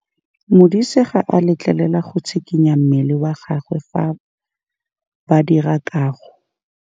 Modise ga a letlelelwa go tshikinya mmele wa gagwe fa ba dira karô.